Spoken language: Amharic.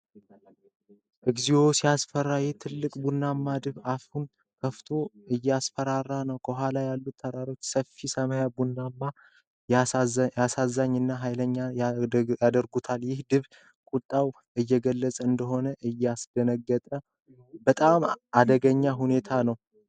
እግዚኦ! ሲያስፈራ! ይህ ትልቅ ቡናማ ድብ አፉን ከፍቶ እያስፈራራ ነው። ከኋላ ያሉት ተራሮች እና ሰፊ ሰማይ ድቡን አሳዛኝ እና ኃይለኛ ያደርጉታል። ይህ ድብ ቁጣውን እየገለጸ እንደሆነ ያስደነግጣል። በጣም አደገኛ ሁኔታ ነው!